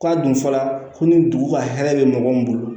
K'a dun fɔla ko ni dugu ka hɛrɛ bɛ mɔgɔ min bolo